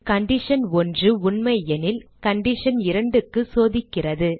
condition 1 உண்மையெனில் condition 2 க்கு சோதிக்கிறது